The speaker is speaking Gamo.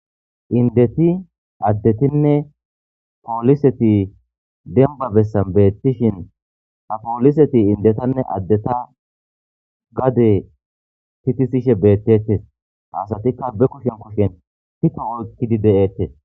Indeti addetinne pooliseti denba bessan beettishin ha pooliseti indetanne addeta gade titisishe beettetes haasatikka be kushen kushen pito oykkidi de'eettes.